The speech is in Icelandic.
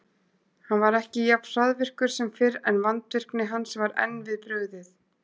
Hann var ekki jafn hraðvirkur sem fyrr, en vandvirkni hans var enn við brugðið.